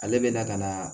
Ale bɛ na ka na